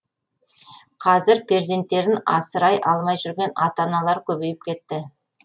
қазір перзенттерін асырай алмай жүрген ата аналар көбейіп кетті